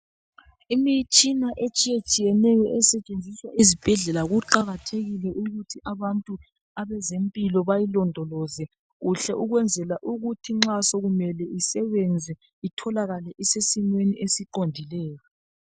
Imitshina esetshenziswayo esebenza esibhedlela kuqakathekile ukuthi abantu bezemphilo bayilondoloze kuhle ukwenzela ukuthi nxa sokumele isebenza itholakale isesimeni esiqondileyo.